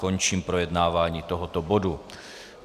Končím projednávání tohoto bodu.